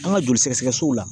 An ka joli sɛgɛsɛgɛ sow la